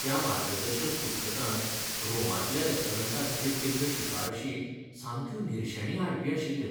त्या मार्गदर्शक पुस्तकांत रोमांतल्या रेस्टॉरंटांखातीर केल्ल्यो शिफारशी सामक्यो निरशेणी हाडपी आशिल्ल्यो.